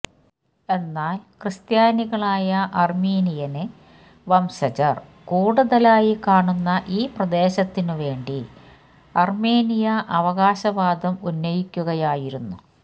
എന്നാല് ക്രിസ്ത്യാനികളായ അര്മീനിയന് വംശജര് കൂടുതലായി കാണുന്ന ഈ പ്രദേശത്തിനുവേണ്ടി അര്മേനിയ അവകാശവാദം ഉന്നയിക്കുകയായിരുന്നു